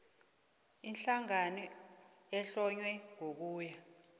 ihlangano ehlonywe ngokuya